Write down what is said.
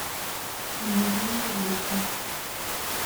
дневник жизни